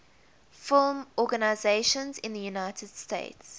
film organizations in the united states